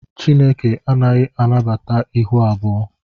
Chineke anaghị anabata ịhụ abụọ